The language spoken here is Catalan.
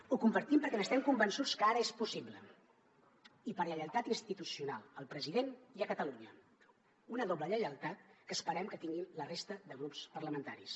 ho compartim perquè estem convençuts que ara és possible i per lleialtat institucional al president i a catalunya una doble lleialtat que esperem que tinguin la resta de grups parlamentaris